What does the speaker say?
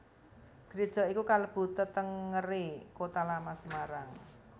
Gréja iki kalebu tetengeré Kota Lama Semarang